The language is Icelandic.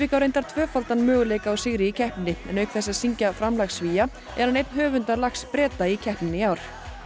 á reyndar tvöfaldan möguleika á sigri í keppninni en auk þess að syngja framlag Svía er hann einn höfunda lags Breta í keppnini í ár